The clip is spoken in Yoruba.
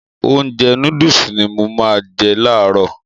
Ounjẹ nóódùsì ni mo má n je làárọ̀